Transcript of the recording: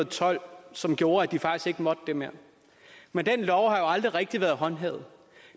tolv som gjorde at de faktisk ikke måtte det mere men den lov har jo aldrig rigtig været håndhævet